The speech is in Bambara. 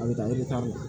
A bɛ taa la